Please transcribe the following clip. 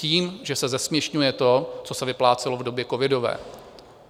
Tím, že se zesměšňuje to, co se vyplácelo v době covidové.